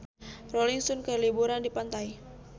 Rolling Stone keur liburan di pantai